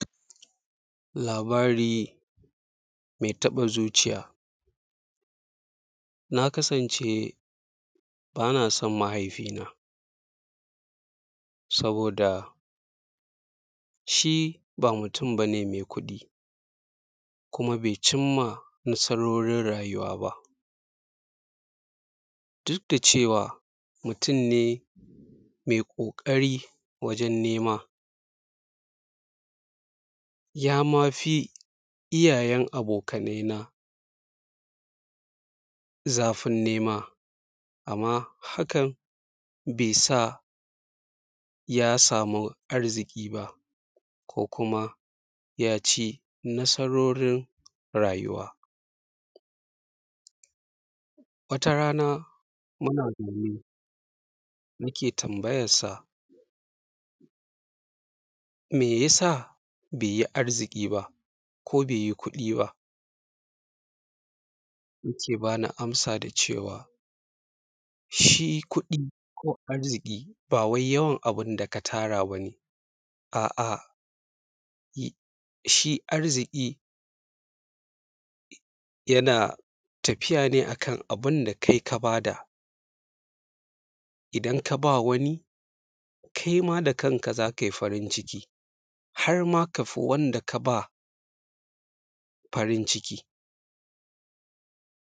Labari mai taɓa zuciya. Na kasance ba na san mahaifina saboda shi ba mutum ba ne mai kuɗi, kuma bai cin ma nasarorin rayuwa ba, duk da cewa mutum ne mai ƙoƙari wajen nema. Ya ma fi iyayen abokana zafin nema, amma hakan bai sa ya samu arziki ba ko kuma ya ci nasarorin rayuwa. Wata rana muna zaune, muke tambayensa me yasa bai yi arziki ba ko bai yi kuɗi ba, yake ba ni amsa da cewa shi kuɗi ko arziki ba wai yawan abun da ka tara ba ne. A’a, shi arziki yana tafiya ne a kan abun da kai ka ba da, idan ka ba wani, kai ma da kanka za kai farin ciki, har ma ka fi wanda ka ba farin ciki.